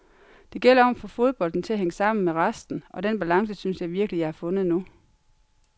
Det gælder om at få fodbolden til at hænge sammen med resten, og den balance synes jeg virkelig, jeg har fundet nu.